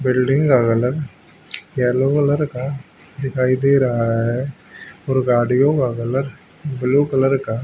building का colour yellow colour का दिखाई दे रहा है और गाड़ियों का कलर ब्लू कलर का --